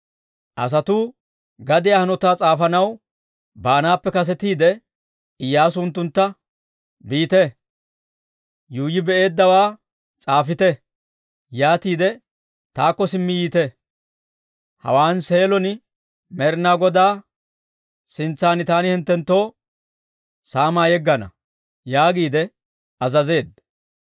Asatuu gadiyaa hanotaa s'aafanaw baanaappe kasetiide, Iyyaasu unttuntta, «Biite; yuuyyi be'eeddawaa s'aafite. Yaatiide taakko simmi yiite. Hawaan Seelon Med'ina Godaa sintsan taani hinttenttoo saamaa yeggana» yaagiide azazeedda.